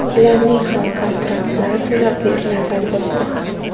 ularning ham kontraktlari to‘lab beriladi, albatta.